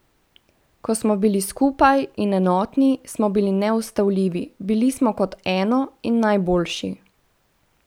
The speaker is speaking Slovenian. Ko smo bili skupaj in enotni, smo bili neustavljivi, bili smo kot eno in najboljši.